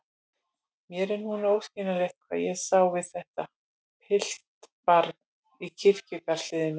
Mér er núna óskiljanlegt hvað ég sá við þetta piltbarn í kirkjugarðshliðinu.